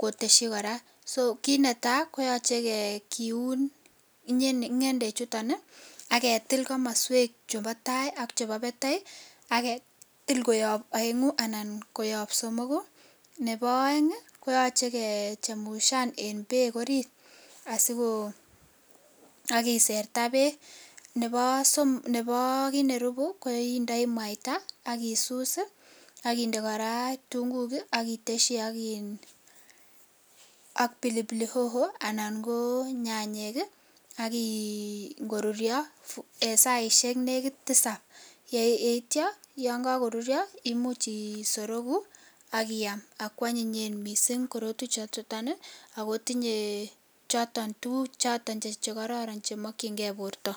koteshi koraa, so kinetaa koyoche kiun ingendechuton aketil komoswek chubo taa ak chumbo batai , ak ketil koyob oengu anan somok, nebo oeng koyoche kexhemushan en beek orit asiko ak kiserta beek, nebo somok nebo kit nerubi koindoi mwaita ak isus ii ak inde koraa kitunguuk ii ak iteshin iin ak pilipili hoho anan ko nyanyek ak inkorurio en saishek nekit tisab ak itio yon kokorurio imuch isoroku ak iyam anyinye missing' korotwechuton ii akotinye tuguk choton chemokyingee borto.